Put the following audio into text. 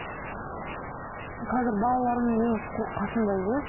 қазір балаларым менің қасымда емес